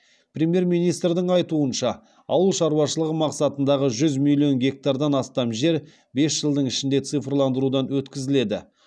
премьер министрдің айтуынша ауыл шаруашылығы мақсатындағы жүз миллион гектардан астам жер бес жылдың ішінде цифрландырудан өткізіледі